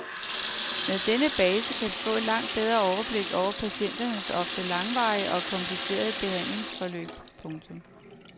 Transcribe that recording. Med denne base kan vi få et langt bedre overblik over patienternes ofte langvarige og komplicerede behandlingsforløb. punktum